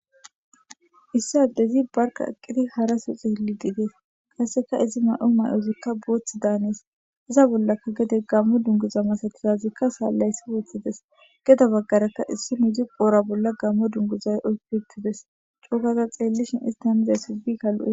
Issi addezi barka aqqidi haraso xeeli diigees kasseka izi may7o may7ozikka booth daanees iza bollaka gede gammo dunguza masatizazikka saallayssi woththides geda baggarakka issi nuzi qoora bolla gammo dunguzay oykitides coogaza xeellishin istanizay subi kalu7e